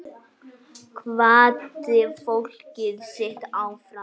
Hvatti fólkið sitt áfram.